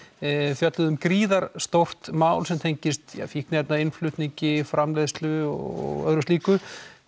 fjölluðu um gríðarlega stórt mál sem tengdist fíkniefnainnflutningi framleiðslu og öðru slíku